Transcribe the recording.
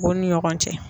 U ni ɲɔgɔn cɛ